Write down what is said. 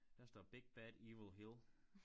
Der står big bad evil hill